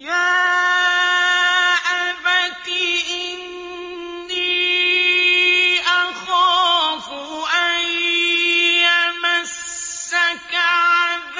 يَا أَبَتِ إِنِّي أَخَافُ أَن يَمَسَّكَ عَذَابٌ